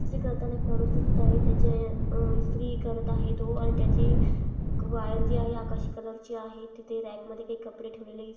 इस्त्री करताना एक माणूस दिसत आहे त्याचे अह इस्त्री करत आहे तो आणि त्याचे अ वायर जे आहे आकाशी कलर ची आहे तिथे रॅक मध्ये काही कपडे ठेवलेले--